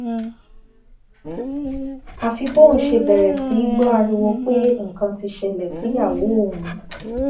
àfi bóun ṣe bẹrẹ sí í gbọ ariwo pé nǹkan ti ṣẹlẹ síyàwó òun